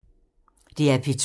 DR P2